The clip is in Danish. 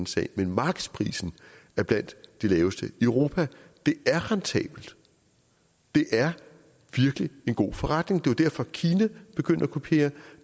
sag men markedsprisen er blandt de laveste i europa det er rentabelt det er virkelig en god forretning det er derfor at kina er begyndt at kopiere